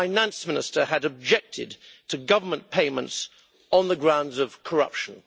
the Finance Minister had objected to government payments on the grounds of corruption'.